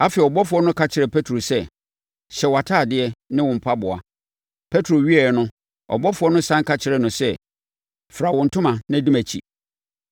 Afei, ɔbɔfoɔ no ka kyerɛɛ Petro sɛ, “Hyɛ wʼatadeɛ ne wo mpaboa. Petro wieeɛ no, ɔbɔfoɔ no sane ka kyerɛɛ no sɛ, Fira wo ntoma na di mʼakyi.”